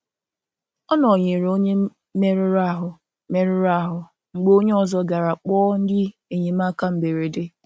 Ọ nọ̀nyerè onye mèruru ahú mèruru ahú mgbe onye ọzọ garà kpọọ ndị enyemáka mberede.